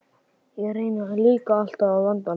Ég reyni líka alltaf að vanda mig.